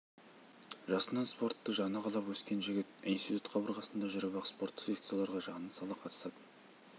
жасынан спортты жаны қалап өскен жігіт институт қабырғасында жүріп-ақ спорттық секцияларға жанын сала қатысатын